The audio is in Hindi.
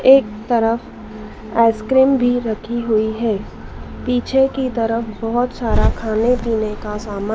एक तरफ आइसक्रीम भी रखी हुई हैं पीछे की तरफ बहोत सारा खाने पीने का समान--